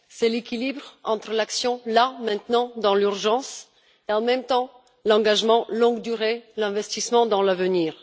C'est l'équilibre entre l'action, là maintenant, dans l'urgence, et en même temps, l'engagement de longue durée, l'investissement dans l'avenir.